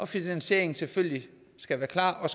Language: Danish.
finansieringen selvfølgelig skal være klar